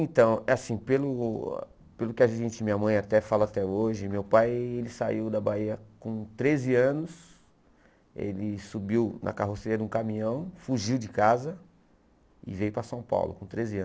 Então, é assim, pelo pelo que a gente, minha mãe até fala até hoje, meu pai saiu da Bahia com treze anos, ele subiu na carroceira de um caminhão, fugiu de casa e veio para São Paulo com treze anos.